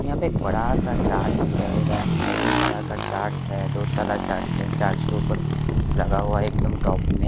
यहाँ पे एक बड़ा सा चार्जस दिखाई दे रहा है मेहरून कलर का चार्ज है दो तरह चार्जिंग चार्ज के ऊपर घुस लगा हुआ है एकदम टॉप मे--